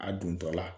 A dontɔla